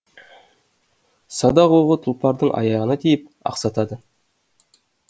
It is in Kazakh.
садақ оғы тұлпардың аяғына тиіп ақсатады